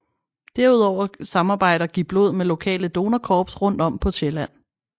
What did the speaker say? Derudover samarbejder GivBlod med lokale donorkorps rundt om på Sjælland